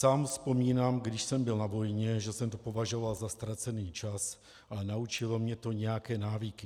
Sám vzpomínám, když jsem byl na vojně, že jsem to považoval za ztracený čas, ale naučilo mě to nějaké návyky.